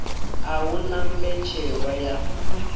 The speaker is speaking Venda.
a hu na mbetshelwa ya